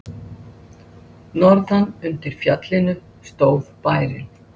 Ég er ánægður með hvernig hefur gengið að styrkja hópinn.